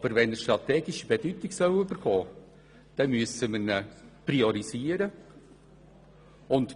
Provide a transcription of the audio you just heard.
Wenn er jedoch strategische Bedeutung erhalten soll, dann müssen wir ihn priorisieren und